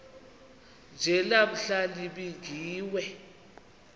nje namhla nibingiwe